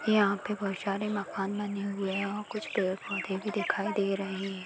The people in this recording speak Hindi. यहाँ पे बहुत सारे मकान बने हुए है और कुछ पेड़-पौधे भी दिखाई दे रहे हैं।